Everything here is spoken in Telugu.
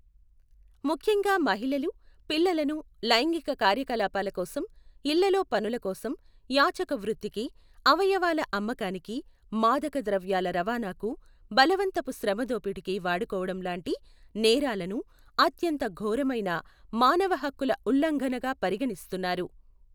ముఖ్యంగా మహిళలు, పిల్లలను లైంగిక కార్యకలాపాల కోసం, ఇళ్ళలో పనులకోసం, యాచక వృత్తికి, అవయవాల అమ్మకానికి, మాదక ద్రవ్యాల రవాణాకు, బలవంతపు శ్రమ దోపిడీకి వాడుకోవటం లాంటి నేరాలను అత్యంత ఘోరమైన మానవ హక్కుల ఉల్లంఘనగా పరిగణిస్తున్నారు.